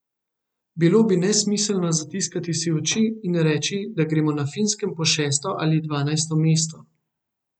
Bilo bi nesmiselno zatiskati si oči in reči, da gremo na Finskem po šesto ali dvanajsto mesto.